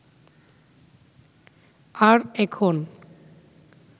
আর এখন